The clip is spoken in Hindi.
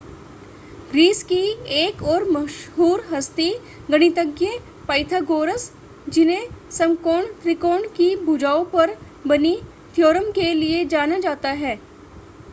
ग्रीस की एक और मशहूर हस्ती गणितज्ञ पाइथागोरस जिन्हें समकोण त्रिकोण की भुजाओं पर बनी थ्योरम के लिए जाना जाता है